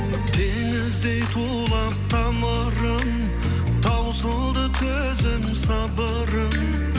теңіздей тулап тамырым таусылды төзім сабырым